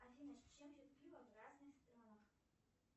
афина с чем пьют пиво в разных странах